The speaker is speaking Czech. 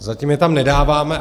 Zatím je tam nedáváme.